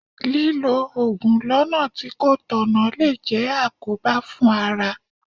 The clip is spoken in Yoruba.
Lílọ Ògùn lọ́nà tí kò tọ̀nà lè jẹ́ àkóbá fún ara.